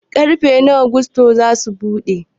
Ƙarfe nawa gusto zasu buɗe?